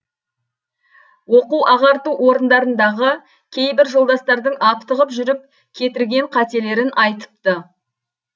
оқу ағарту орындарындағы кейбір жолдастардың аптығып жүріп кетірген қателерін айтыпты